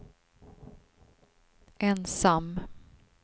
ensam